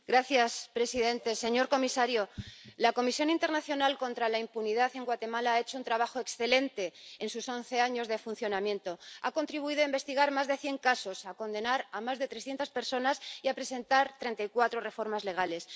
Señor presidente, señor comisario, la Comisión Internacional Contra la Impunidad en Guatemala ha hecho un trabajo excelente en sus once años de funcionamiento, ha contribuido a investigar más de cien casos, a condenar a más de trescientas personas y a presentar treinta y cuatro reformas legales.